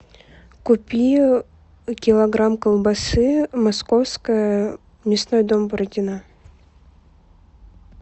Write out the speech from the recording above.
купи килограмм колбасы московская мясной дом бородина